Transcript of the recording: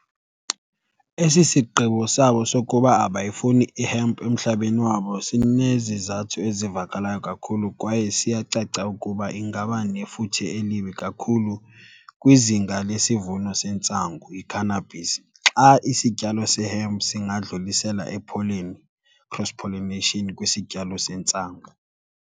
Esi sigqibo sabo sokuba abayifuni ihempu emhlabeni wabo sinezizathu ezivakalayo kakhulu kwaye siyacaca ukuba ingaba nefuthe elibi kakhulu kwizinga lesivuno sentsangu, i-cannabis, xa isityalo sehempu singadlulisela ipholeni, cross pollination, kwisityalo sentsangu.